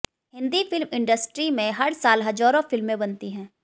Hindi film industry में हर साल हजारों फिल्में बनती है